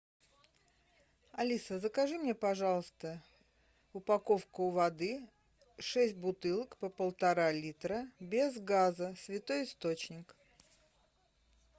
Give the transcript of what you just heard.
алиса закажи мне пожалуйста упаковку воды шесть бутылок по полтора литра без газа святой источник